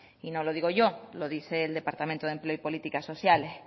y no lo digo yo lo dice el departamento de empleo y políticas sociales